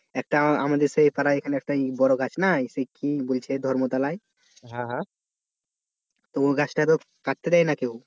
একটা আমাদের সেই পাড়ায় একটা বড় গাছ না সেই কি বলছে ধর্মতলায় তো এই গাছটা তো কাটতে দেয়নি কেউ